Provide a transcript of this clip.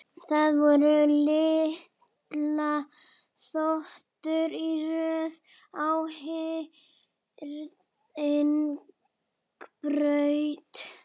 Það voru litlar þotur í röð á hringbraut.